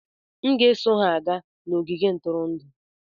M ga-eso ha gaa n'ogige ntụrụndụ.